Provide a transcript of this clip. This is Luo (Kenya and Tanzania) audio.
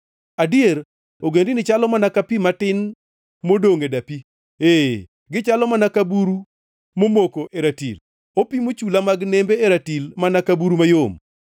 Adier ogendini chalo mana ka pi matin modongʼ e dapi; ee, gichalo mana ka buru momoko e ratil, opimo chula mag nembe e ratil mana ka buru mayom.